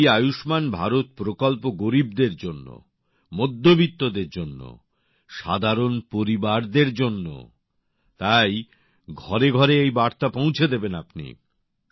এই আয়ুষ্মান ভারত প্রকল্প গরীবদের জন্য মধ্যবিত্তদের জন্য সাধারণ পরিবারদের জন্য তাই ঘরেঘরে এই বার্তা পৌঁছে দেবেন আপনি